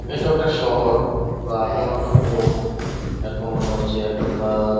এটাও একটা শহর বা কোনো একটা এরকম মনে হচ্ছে একটা আহ --